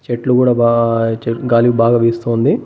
చెట్లు కూడా బా చెట్ గాలి బాగా వీస్తూ ఉంది.